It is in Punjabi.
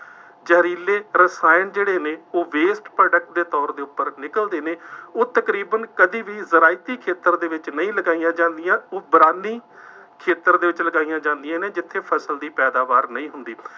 ਜ਼ਹਿਰੀਲੇ ਰਸਾਇਣ ਜਿਹੜੇ ਨੇ ਉਹ waste product ਦੇ ਤੌਰ ਦੇ ਉੱਪਰ ਨਿਕਲਦੇ ਨੇ, ਉਹ ਤਕਰੀਬਨ ਕਦੀ ਵੀ ਜ਼ਰਾਇਤੀ ਖੇਤਰ ਦੇ ਵਿੱਚ ਨਹੀਂ ਲਗਾਈਆਂ ਜਾਂਦੀਆਂ, ਇਹ ਵਿਰਾਨੀ ਖੇਤਰ ਦੇ ਵਿੱਚ ਲਗਾਈਆਂ ਜਾਂਦੀਆਂ ਨੇ, ਜਿੱਥੇ ਫਸਲ ਦੀ ਪੈਦਾਵਾਰ ਨਹੀਂ ਹੁੰਦੀ।